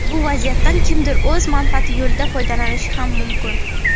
Bu vaziyatdan kimdir o‘z manfaati yo‘lida foydalanishi ham mumkin.